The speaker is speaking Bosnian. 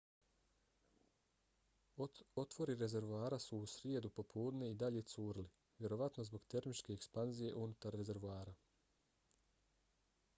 otvori rezervoara su u srijedu popodne i dalje curili vjerovatno zbog termičke ekspanzije unutar rezervoara